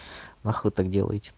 нахуй так делаете